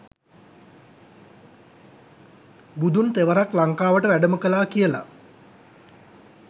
බුදුන් තෙවරක් ලංකාවට වැඩම කළා කියලා